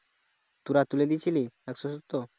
তোরা তুলে দিয়েছিলি একশো সত্তর